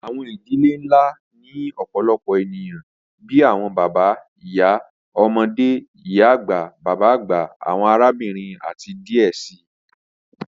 Awọn idilẹ̀ nlá ni ọ̀pọ̀lọpọ̀ ènìyàn bíi awọn bàbá, ìyá, ọmọde, ìyá-agba, bàbá-agba, awọn àràbìnrin, àti díẹ̀ sí.